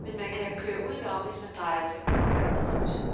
men man kan køre udenom, hvis man drejer til højre i krydset.